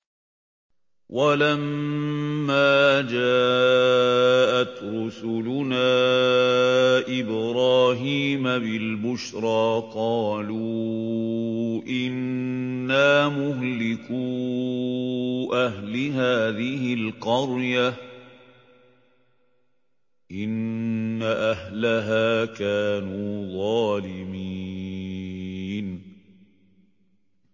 وَلَمَّا جَاءَتْ رُسُلُنَا إِبْرَاهِيمَ بِالْبُشْرَىٰ قَالُوا إِنَّا مُهْلِكُو أَهْلِ هَٰذِهِ الْقَرْيَةِ ۖ إِنَّ أَهْلَهَا كَانُوا ظَالِمِينَ